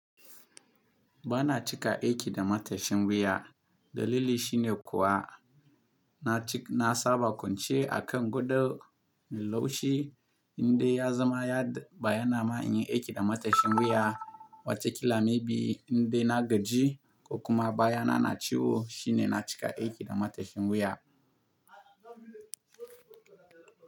Ba na cika aiki da matashin wuya. Dalili shine kuwa na ci-- na saba kwance a kan gadon mai laushi, inda ya zama ya baya na ma in yi aiki da matashin wuya. Wataƙila maybe indai na gaji ko kuma baya na na ciwo shine na cika aiki da matashin wuya.